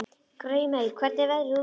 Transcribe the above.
Grímey, hvernig er veðrið úti?